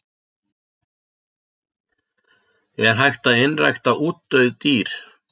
Er hægt að einrækta útdauð dýr?